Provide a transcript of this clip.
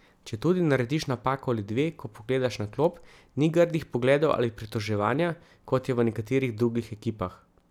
Četudi narediš napako ali dve, ko pogledaš na klop, ni grdih pogledov ali pritoževanja, kot je v nekaterih drugih ekipah.